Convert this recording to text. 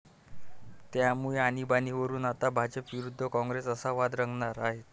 त्यामुळे आणिबाणीवरुन आता भाजप विरुद्ध काँग्रेस असा वाद रंगणार आहे.